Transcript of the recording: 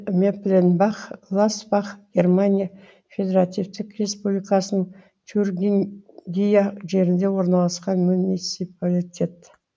мелленбах гласбах германия федеративтік республикасының тюрингия жерінде орналасқан муниципалитет